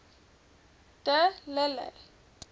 de lille